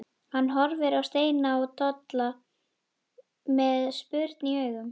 Hann horfir á Steina og Tolla með spurn í augum.